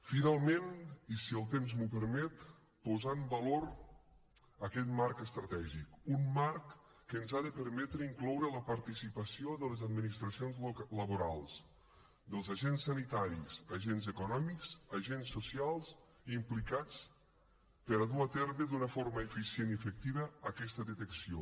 finalment i si el temps m’ho permet posar en valor aquest marc estratègic un marc que ens ha de permetre incloure la participació de les administracions laborals dels agents sanitaris agents econòmics agents socials implicats per dur a terme d’una forma eficient i efectiva aqueta detecció